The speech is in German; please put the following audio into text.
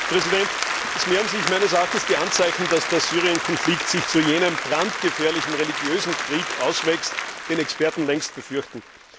Herr Präsident! Es mehren sich meiner Meinung nach die Anzeichen, dass der Syrien Konflikt sich zu jenem brandgefährlichen religiösen Krieg auswächst, den Experten längst befürchten.